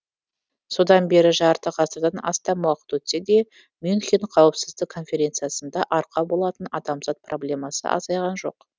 содан бері жарты ғасырдан астам уақыт өтсе де мюнхен қауіпсіздік конференциясына арқау болатын адамзат проблемасы азайған жоқ